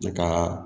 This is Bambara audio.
Ne ka